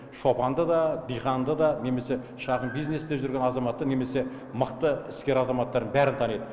шопанды да диқанды да немесе шағын бизнесте жүрген азаматты немесе мықты іскер азаматтарын бәрін таниды